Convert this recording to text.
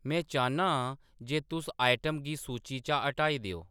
में चाह्न्ना आं जे तुस आइटम गी सूची चा हटाई देओ